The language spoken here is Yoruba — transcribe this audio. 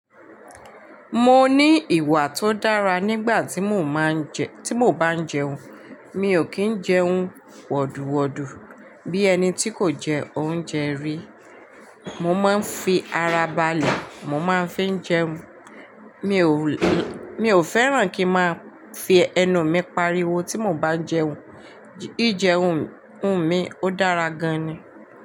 Mo ní ìwà tó dára nígbà tí mo máa ń jẹ, tí mo bá ń jẹun. Mi ò kí ń jẹun wọ̀dùwọ̀dù bí ẹni tí kò jẹ oúnjẹ rí. Mo máa ń fi ara balẹ̀, mo máa ń fi n jẹun. Mi ò, mi ò fẹ́ràn kí n máa fi ẹnu mi pariwo tí mo bá ń jẹun. Ji jẹun mi ó dára gan ni.